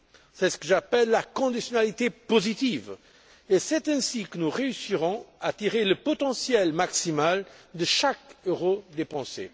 C'est ce que j'appelle la conditionnalité positive, et c'est ainsi que nous réussirons à tirer le potentiel maximal de chaque euro dépensé.